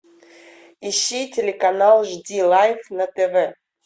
ищи телеканал жди лайф на тв